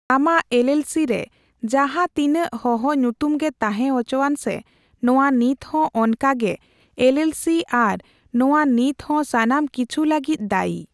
ᱟᱢᱟᱜ ᱮᱞᱹᱮᱞᱹᱥᱤᱹ ᱨᱮ ᱡᱟᱦᱟᱸ ᱛᱤᱱᱟᱹᱜ ᱦᱚᱦᱚ ᱧᱩᱛᱩᱢ ᱜᱮ ᱛᱟᱦᱮᱸ ᱦᱚᱪᱚᱭᱟᱱ ᱥᱮ ᱱᱚᱣᱟ ᱱᱤᱛᱦᱚᱸ ᱚᱱᱠᱟᱜᱮ ᱮᱞᱹᱮᱞᱹᱥᱤ ᱟᱨ ᱱᱚᱣᱟ ᱱᱤᱛᱦᱚᱸ ᱥᱟᱱᱟᱢ ᱠᱤᱪᱷᱩ ᱞᱟᱹᱜᱤᱫ ᱫᱟᱹᱭᱤ ᱾